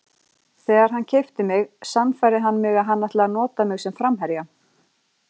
Þegar hann keypti mig sannfærði hann mig að hann ætlaði að nota mig sem framherja.